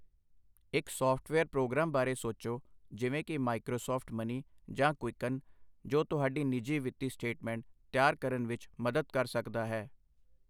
ਇੱਕ software program ਬਾਰੇ ਸੋਚੋ, ਜਿਵੇਂ ਕਿ ਮਾਈਕ੍ਰੋਸਾੱਫਟ ਮਨੀ ਜਾਂ ਕੁਈਕਨ, ਜੋ ਤੁਹਾਡੀ ਨਿੱਜੀ ਵਿੱਤੀ ਸਟੇਟਮੈਂਟ ਤਿਆਰ ਕਰਨ ਵਿੱਚ ਮਦਦ ਕਰ ਸਕਦਾ ਹੈ।